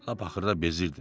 Axırda bezirdim.